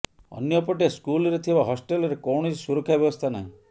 ଅନ୍ୟପଟେ ସ୍କୁଲ୍ରେ ଥିବା ହଷ୍ଟେଲ୍ରେ କୌଣସି ସୁରକ୍ଷା ବ୍ୟବସ୍ଥା ନାହିଁ